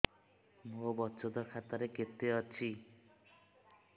ମୋ ବଚତ ଖାତା ରେ କେତେ ଅଛି